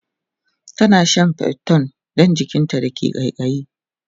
tana Shan priton Dan jikinta da ke kaikayi